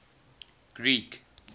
greek